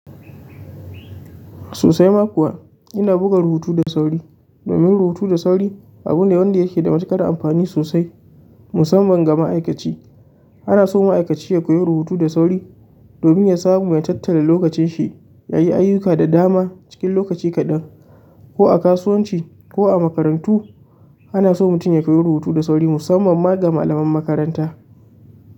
Sosai ma kuwa ina buga rubutu da sauri. Domin rubutu da sauri abu ne wanda yake da matuƙar amfani sosai musamman ga ma'aikaci. Anaso ma'aikaci ya koyi rubutu da sauri, domin ya samu ya tattala lokacin shi yayi ayyuka da dama cikin lokaci kaɗan, ko a kasuwanci ko a makarantu ana so mutum ya koyi rubutu da sauri musamman ma ga malaman makaranta.